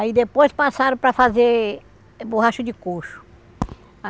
Aí depois passaram para fazer borracha de coxo.